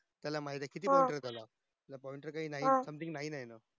त्याला माहित ये किती ये त्याला something nine ये